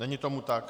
Není tomu tak.